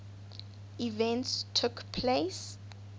events took place